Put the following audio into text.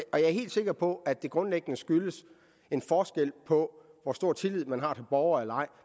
er helt sikker på at det grundlæggende skyldes en forskel på hvor stor tillid man har til borgeren